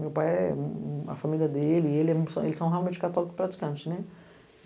Meu pai, a família dele, eles são realmente católicos praticantes, né?